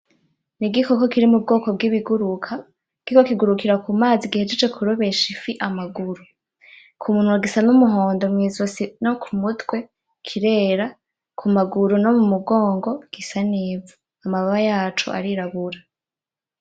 N'igikoko kiri mu bwoko bw'ibiguruka kino kigurukira kumazi gihejeje kurobesha ifi amaguru, kumunwa gisa n'umuhondo, mwizosi no kumutwe kirera, kumaguru no mumugongo gisa n'ivu. Amababa yaco arirabura.